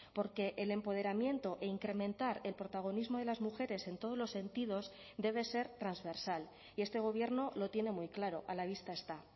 porque el empoderamiento e incrementar el protagonismo de las mujeres en todos los sentidos debe ser transversal y este gobierno lo tiene muy claro a la vista está